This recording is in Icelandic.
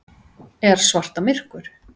Er svarta myrkur?